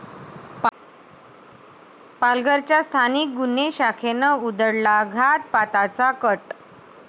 पालघरच्या स्थानिक गुन्हे शाखेनं उधळला घातपाताचा कट?